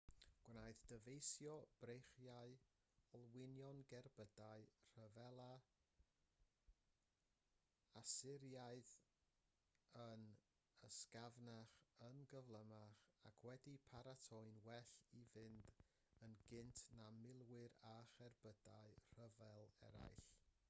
gwnaeth dyfeisio breichiau olwynion gerbydau rhyfela asyriaidd yn ysgafnach yn gyflymach ac wedi'u paratoi'n well i fynd yn gynt na milwyr a cherbydau rhyfel eraill